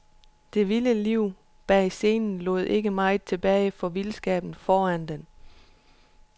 Det vilde liv bag scenen lod ikke meget tilbage for vildskaben foran den.